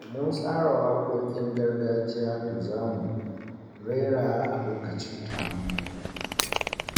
Mun tsara waƙoƙin gargajiya da za mu rera a lokacin taron hutu.